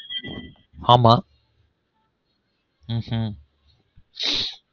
ஆமா